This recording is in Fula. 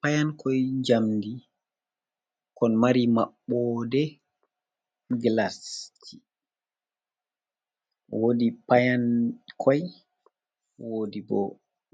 Payankoy njamndi, kon mari maɓɓoode gilasji, woodi payankoy, woodi bo,